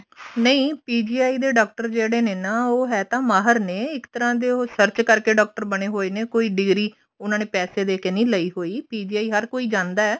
ਨਹੀਂ PGI ਦੇ doctor ਹੈਗੇ ਨੇ ਹੈ ਤਾਂ ਉਹ ਮਾਹਿਰ ਨੇ ਇੱਕ ਤਰ੍ਹਾਂ ਦੇ ਉਹ search ਕਰਕੇ doctor ਬਣੇ ਹੋਏ ਨੇ ਕੋਈ ਡਿਗਰੀ ਉਹਨਾ ਨੇ ਪੈਸੇ ਦੇਕੇ ਨਹੀਂ ਲਈ ਹੋਈ PGI ਹਰ ਕੋਈ ਜਾਂਦਾ